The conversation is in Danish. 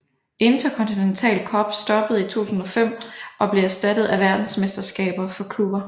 Interkontinental Cup stoppede i 2005 og blev erstattet af Verdensmesterskabet for klubber